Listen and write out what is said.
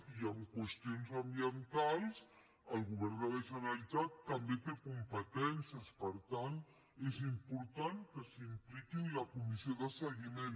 i en qüestions ambientals el govern de la generalitat també hi té competències per tant és important que s’impliqui en la comissió de seguiment